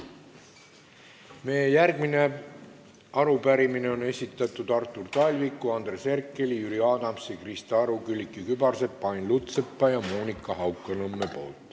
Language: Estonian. Meie järgmise arupärimise on esitanud Artur Talvik, Andres Herkel, Jüri Adams, Krista Aru, Külliki Kübarsepp, Ain Lutsepp ja Monika Haukanõmm.